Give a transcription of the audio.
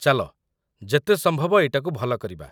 ଚାଲ ଯେତେ ସମ୍ଭବ ଏଇଟାକୁ ଭଲ କରିବା ।